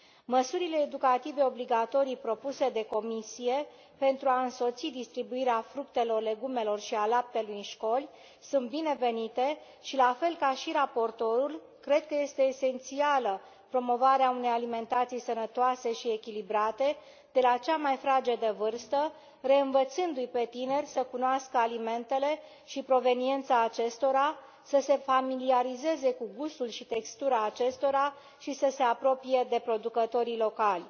Măsurile educative obligatorii propuse de Comisie pentru a însoți distribuirea fructelor, legumelor și a laptelui în școli sunt binevenite și, la fel ca și raportorul, cred că este esențială promovarea unei alimentații sănătoase și echilibrate de la cea mai fragedă vârstă, reînvățându i pe tineri să cunoască alimentele și proveniența acestora, să se familiarizeze cu gustul și textura acestora și să se apropie de producătorii locali.